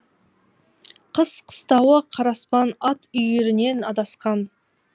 қыс қыстауы қараспан ат үйірінен адасқан